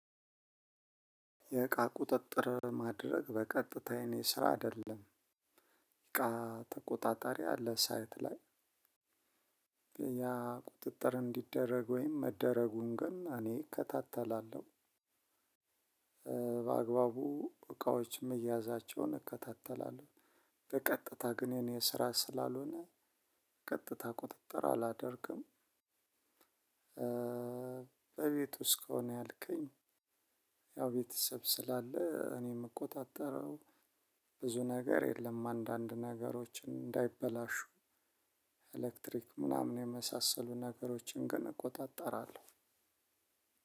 የእቃ ቁጥጥር ማድረግ በቀጥታ የኔ ስራ አይደለም እቃ ተቆጣጣሪ አለ ሳይት ላይ። ያ ቁጥጥር እንዲደረግ ወይም መደረጉን ግን እኔ እከታተላለሁ። በአግባቡ እቃዎች መያዛቸውን እከታተላለሁ። በቀጥታ ግን የኔ ስራ ስላልሆነ ቀጥታ ቁጥጥር አላደርግም። በቤት ውስጥ ከሆነ ያልከኝ? ያው ቤተሰብ ስላለ እኔም ምቆጣጠረው ብዙ ነገር የለም። አንዳንድ ነገሮችን እንዳይበላሹ ኤሌክትሪክ ምናምን የመሳሰሉ ነገሮችን ግን እቆጣጠራለሁ።